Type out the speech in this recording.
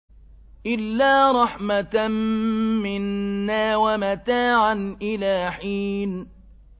إِلَّا رَحْمَةً مِّنَّا وَمَتَاعًا إِلَىٰ حِينٍ